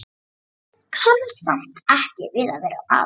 Hún kann samt ekki við að vera afundin.